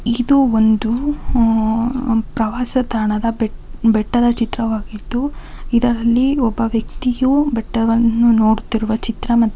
ಇದು ಒಂದು ಹಾ. ಪ್ರವಾಸ ತಾಣದ ಬೆಟ್ ಬೆಟ್ಟದ ಚಿತ್ರವಾಗಿದ್ದು ಇದರಲ್ಲಿ ಒಬ್ಬ ವ್ಯಕ್ತಿಯು ಬೆಟ್ಟವನ್ನು ನೋಡುತಿರುವ ಚಿತ್ರ--